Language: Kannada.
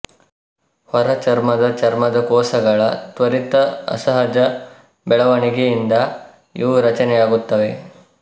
ಹೊರಚರ್ಮದ ಚರ್ಮದ ಕೋಶಗಳ ತ್ವರಿತ ಅಸಹಜ ಬೆಳವಣಿಗೆ ಇಂದ ಇವು ರಚನೆಯಾಗುತ್ತವೆ